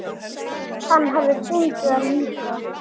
Hann hafi fundið það líka.